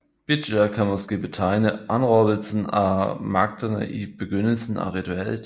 Bidja kan måske betegne anråbelsen af magterne i begyndelsen af ritualet